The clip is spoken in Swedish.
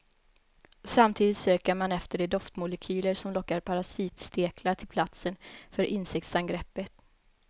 Samtidigt söker man efter de doftmolekyler som lockar parasitsteklar till platsen för insektsangreppet.